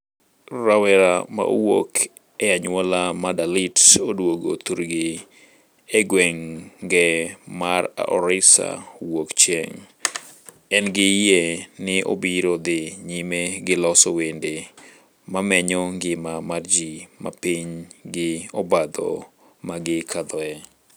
Rawerano mawuok e anyuola mar Dalit, oduogo thurgi e gwenge mar Orissa wuok chieng' (Odisa), engi yie ni obiro dhi nyime gi loso wende mamenyo ngima mar ji mapiny gi obadho magi kadhoe.